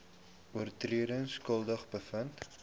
oortredings skuldig bevind